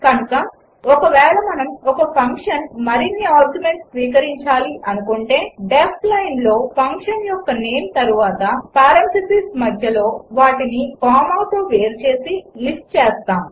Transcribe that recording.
కనుక ఒకవేళ మనము ఒక ఫంక్షన్ మరిన్ని ఆర్గ్యుమెంట్స్ స్వీకరించాలి అనుకుంటే డీఇఎఫ్ లైనులో ఫంక్షన్ యొక్క నేమ్ తర్వాత పారెంథీసిస్ మధ్యలో వాటిని కామాతో వేరు చేసి లిస్ట్ చేస్తాము